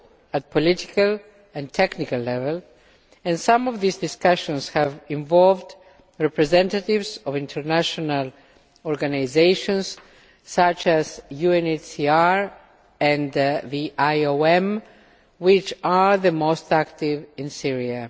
at political and technical level and some of these discussions have involved representatives of international organisations such as the UNHCR and the IOM which are the most active in Syria.